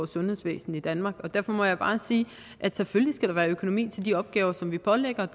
sundhedsvæsenet i danmark og derfor må jeg bare sige at selvfølgelig skal der være økonomi til de opgaver som vi pålægger